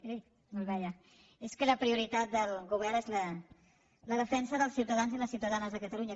eh no el veia és que la prioritat del govern és la defensa dels ciutadans i les ciutadanes de catalunya